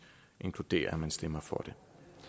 inkludere at man stemmer for det